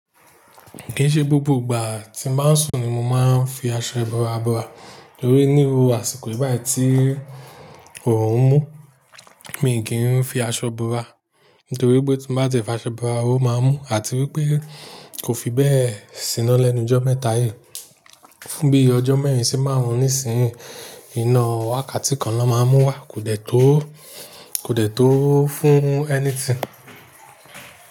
Kì í ṣe gbogbo ìgbà tí máa ń sùn ni mo máa ń fi aṣọ ibora bora. Nítorí níro àsìkò yi bayi tí òórùn ń mú, mi kì í fi aṣọ bora. Nítorí pé tí mo bá ti fi aṣọ bora, ó máa mú àti wípé kò fi bẹ́ẹ̀ síná lẹ́nu jọ mẹ́ta yí. Bí ọjọ́ mẹ́rin ṣe máa wù níìsín, iná wákàtí kan ló máa mú wá, kò dẹ tó, kò dẹ tó fún ẹni tín.